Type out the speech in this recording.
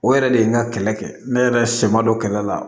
O yɛrɛ de ye n ka kɛlɛ kɛ ne yɛrɛ sɛ ma don kɛlɛ la